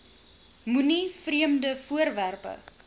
moenie vreemde voorwerpe